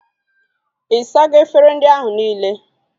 Ị sago efere ndị ahụ nile?